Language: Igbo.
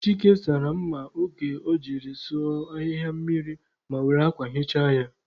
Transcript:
Chike sara mma oge o jiri sụọ ahịhịa mmiri ma were akwa hichaa ya.